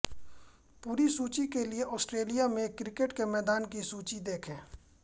पूरी सूची के लिए ऑस्ट्रेलिया में क्रिकेट के मैदान की सूची देखें